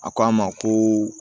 A ko an ma ko